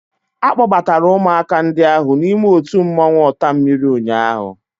A kpọbatara ụmụaka ndị ahụ n'ime otu mmọnwụ ọtammiri ụnyaahụ